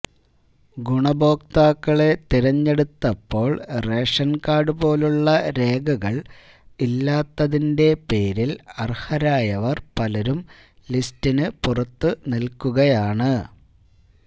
ഗുണഭോക്താക്കളെ തെരഞ്ഞെടുത്തപ്പോള് ration card പോലുള്ള രേഖകള് ഇല്ലാത്തിണ്റ്റെ പേരില് അര്ഹരായവര് പലരും ലിസ്റ്റിനു പുറത്തു നില്ക്കുകയാണ്